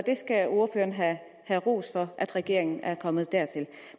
skal have ros for at regeringen er kommet dertil